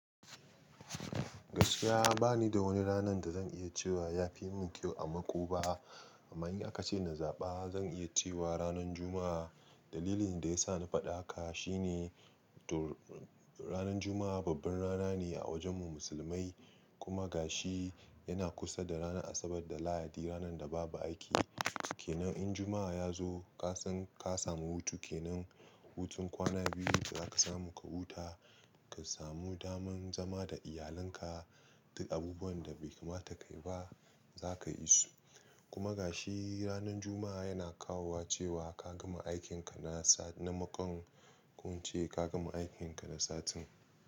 Gaskiya bani da wani ranar da zan iya cewa ya fi mun kyau a mako ba. Amma in aka ce na zaba zan iya cewa ranan Juma'a. Dalilin da ya sa na faɗa haka shine to ranan Juma'a babbar rana ne a wajen mu musulmai kuma gashi yana kusa da ranan Asabar da Lahadi ranar da babu aiki. Kenan in Juma'a ya zo ka san ka samu hutu. Kenan hutun kwana biyu zaka samu ka huta, ka samu daman zama da iyalinka duk abubuwan da bai kamata ka yi ba zaka yi su. Kuma gashi ranan Juma'a yana kawowa cewa ka gama aikin ka na sa na makon ko in ce ka gama aikin ka na satin.